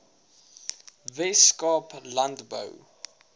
wes kaap landbou